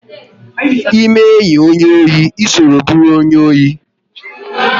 Ịme enyi onye ohi, ịso bụrụ onye ohi!